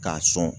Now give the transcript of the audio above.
K'a sɔn